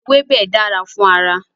Ewébẹ̀ dára fún ara.